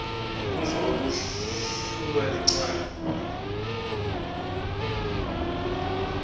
ngemuva kwekulahlwa licala